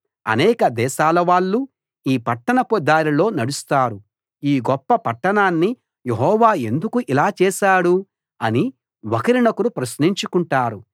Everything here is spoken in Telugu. అనేక దేశాలవాళ్ళు ఈ పట్టణపు దారిలో నడుస్తారు ఈ గొప్ప పట్టణాన్ని యెహోవా ఎందుకు ఇలా చేశాడు అని ఒకరినొకరు ప్రశ్నించుకుంటారు